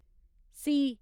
C